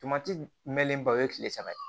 Tomati mɛnlenba o ye tile saba ye